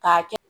K'a kɛ